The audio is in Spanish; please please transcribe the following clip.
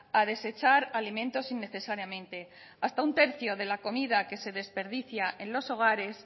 a desechar alimentos innecesariamente hasta un tercio de la comida que se desperdicia en los hogares